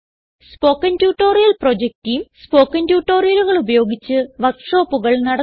spoken tutorial project team spoken ട്യൂട്ടോറിയലുകൾ ഉപയോഗിച്ച് വർക്ക് ഷോപ്പുകൾ നടത്തുന്നു